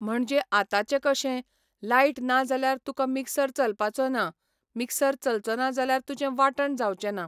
म्हणजे आतांचें कशें, लायट ना जाल्यार तुका मिक्सर चलपाचो ना, मिक्सर चलचो ना जाल्यार तुजें वांटण जावंचें ना.